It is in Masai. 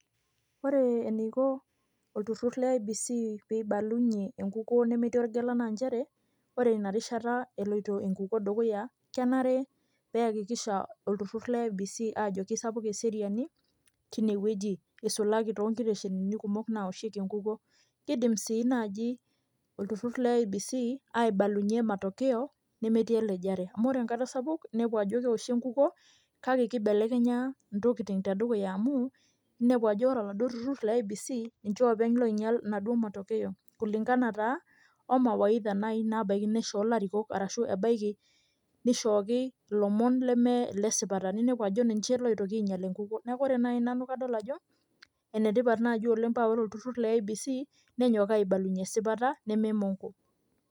Ore eniko olturrur le IEBC peibalunye enkukuo nemetii olgela naa njere, ore inarishata eloito enkukuo dukuya, kenare neakikisha olturrur le IEBC ajo kisapuk eseriani tinewueji. Isukaki tonkiteshenini kumok nawoshieki enkukuo. Kidim si naji olturrur le IEBC, aibalunye matokeo, nemetii elejare. Amu ore enkata sapuk, nepu ajo kewoshi enkukuo, kake kibelekenya intokiting tedukuya amu, inepu ajo ore aladuo turrurr le IEBC, ninche openy loinyal naduo matokeo, kulingana taa o mawaidha nai nabaki nishoo ilarikok, arashu ebaiki nishooki ilomon leme lesipata. Ninepu ajo ninche loitoki ainyal enkukuo. Neeku ore nai nanu kadol ajo, enetipat naji oleng pa ore olturrur le IEBC, nenyok aibalunye esipata, neme mongo.